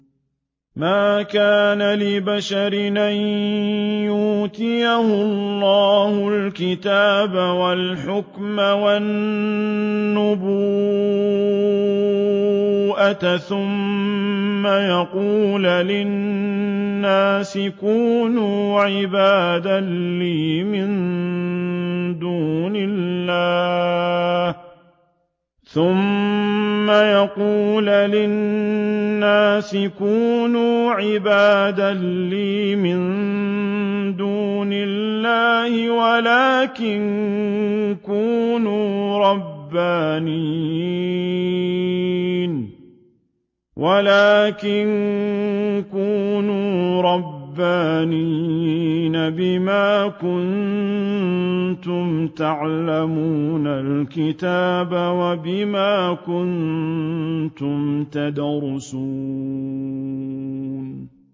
مَا كَانَ لِبَشَرٍ أَن يُؤْتِيَهُ اللَّهُ الْكِتَابَ وَالْحُكْمَ وَالنُّبُوَّةَ ثُمَّ يَقُولَ لِلنَّاسِ كُونُوا عِبَادًا لِّي مِن دُونِ اللَّهِ وَلَٰكِن كُونُوا رَبَّانِيِّينَ بِمَا كُنتُمْ تُعَلِّمُونَ الْكِتَابَ وَبِمَا كُنتُمْ تَدْرُسُونَ